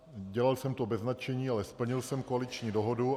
Dělal jsem to bez nadšení, ale splnil jsem koaliční dohodu.